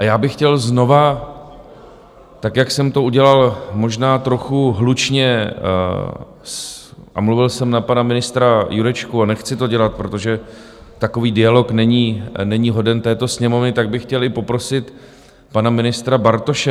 A já bych chtěl znova, tak, jak jsem to udělal, možná trochu hlučně, a mluvil jsem na pana ministra Jurečku - a nechci to dělat, protože takový dialog není hoden této Sněmovny - tak bych chtěl i poprosit pana ministra Bartoše.